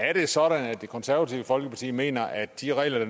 er det sådan at det konservative folkeparti mener at de regler